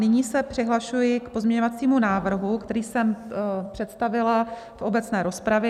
Nyní se přihlašuji k pozměňovacímu návrhu, který jsem představila v obecné rozpravě.